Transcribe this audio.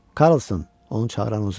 Karlson, onu çağıran uzun idi.